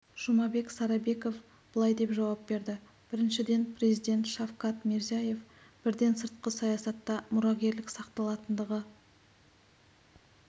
жұмабек сарабеков былай деп жауап берді біріншіден президент шавкат мирзиеев бірден сыртқы саясатта мұрагерлік сақталатындығы